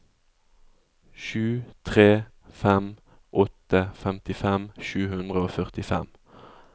sju tre fem åtte femtifem sju hundre og førtifem